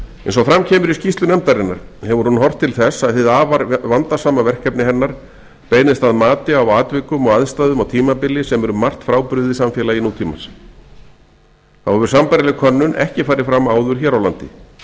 eins og fram kemur í skýrslu nefndarinnar hefur hún horft til þess að hið afar vandasama verkefni hennar beinist að mati á atvikum og aðstæðum á tímabili sem er um margt frábrugðið samfélagi nútímans þá hefur sambærileg könnun ekki farið fram áður hér á landi